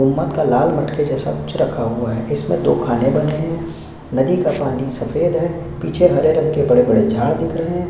कुम्मत का लाल मटके जैसा कुछ रखा हुआ हैं इसमें दो खाने बने है नदी का पानी सफेद है पीछे हरे रंग के बड़े बड़े झाड़ दिख रही है --